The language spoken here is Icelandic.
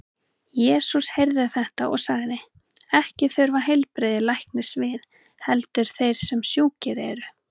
Jesús heyrði þetta og sagði: Ekki þurfa heilbrigðir læknis við, heldur þeir sem sjúkir eru.